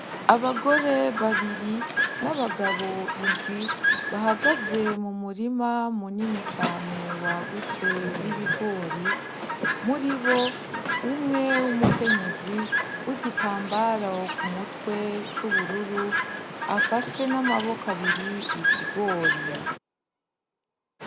Abagore babiri na bagabo indwi bahagaze mumurima munini cane wagutse w’ibigori muribo umwe w'umukenyezi w'igitambaro kumutwe c'ubururu afashe namaboko abiri ikigori.